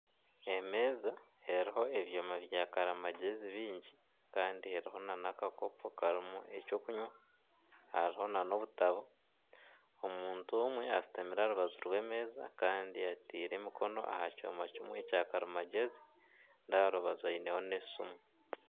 Emeeza eriho ebyoma byakarimagyezi bingi kandi eriho nana akakoopo karimu ekyokunwa, hariho nana obutabo. Omuntu omwe ashutamire aha rubaju rw'emeeza kandi ateire emikono aha kyoma kimwe kyakarimagyezi na aha rubaju aineho n'esimu.